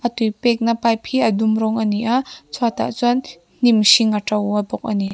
tui pekna pipe hi a dum rawng a ni a chhuatah chuan hnim hring a to a bawk a ni.